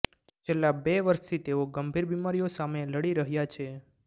છેલ્લા બે વર્ષથી તેઓ ગંભીર બીમારીઓ સામે લડી રહ્યા છે